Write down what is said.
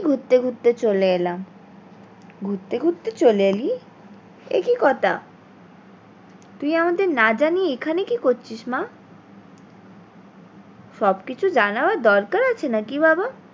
ঘুরতে ঘুরতে চলে এলাম ঘুরেত ঘুরতে চলে এলি এ কি কথা? তুই আমাদের না জানিয়ে এখানে কি করছিস মা? সব কিছু জানানোর দরকার আছে নাকি বাবা?